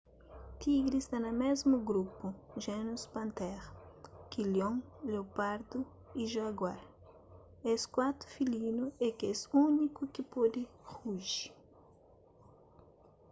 tigri sta na mésmu grupu genus panthera ki leon leopardu y jaguar es kuatu filinu é kes úniku ki pode ruji